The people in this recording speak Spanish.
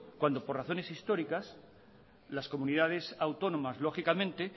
por razones históricas las comunidades autónomas